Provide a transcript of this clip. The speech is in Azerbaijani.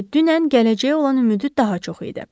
Çünki dünən gələcəyə olan ümidi daha çox idi.